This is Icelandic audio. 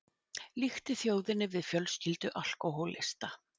Líkti þjóðinni við fjölskyldu alkóhólista